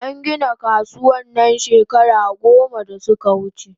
An gina kasuwan nan shekara goma da suka wuche